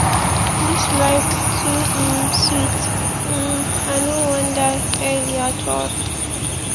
dis life too um sweet um i no wan die early at all